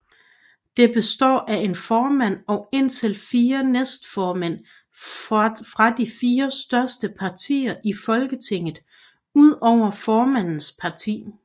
Det består af en formand og indtil fire næstformænd fra de fire største partier i Folketinget udover formandens parti